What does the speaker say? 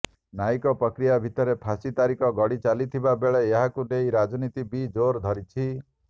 ନ୍ୟାୟିକ ପ୍ରକ୍ରିୟା ଭିତରେ ଫାଶୀ ତାରିଖ ଗଡି ଚାଲିଥିବା ବେଳେ ଏହାକୁ ନେଇ ରାଜନୀତି ବି ଜୋର୍ ଧରିଛି